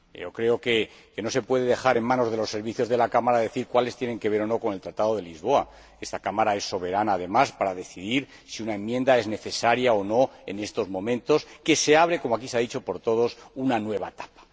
Creo que no se puede dejar en manos de los servicios de la Cámara decir cuáles tienen que ver o no con el Tratado de Lisboa. Esta Cámara es soberana, además, para decidir si una enmienda es necesaria o no en estos momentos en que se abre como aquí se ha dicho por todos una nueva etapa.